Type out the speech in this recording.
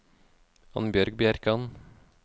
Annbjørg Bjerkan